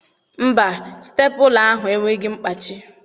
Mba, Stepụla ahụ enweghị mkpachi.